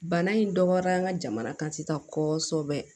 Bana in dɔgɔyara an ka jamana kan sisan kɔsɔbɛ